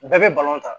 Bɛɛ bɛ ta